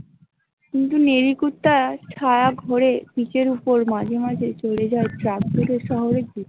তুমি কি নেরি কুত্তা ছারা ঘোরে পিঠের উপর মাঝে মাঝে চরে যায় ।